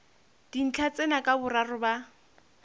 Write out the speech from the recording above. dintlha tsena ka boraro ba